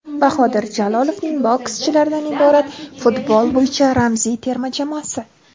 Bahodir Jalolovning bokschilardan iborat futbol bo‘yicha ramziy terma jamoasi .